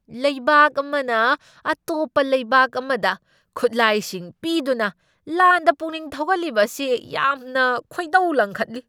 ꯂꯩꯕꯥꯛ ꯑꯃꯅ ꯑꯇꯣꯞꯄ ꯂꯩꯕꯥꯛ ꯑꯃꯗ ꯈꯨꯠꯂꯥꯏꯁꯤꯡ ꯄꯤꯗꯨꯅ ꯂꯥꯟꯗ ꯄꯨꯛꯅꯤꯡ ꯊꯧꯒꯠꯂꯤꯕ ꯑꯁꯤ ꯌꯥꯝꯅ ꯈꯣꯏꯗꯧ ꯂꯪꯈꯠꯂꯤ ꯫